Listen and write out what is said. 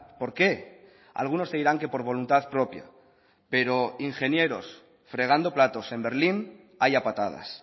por qué algunos te dirán que por voluntad propia pero ingenieros fregando platos en berlín hay a patadas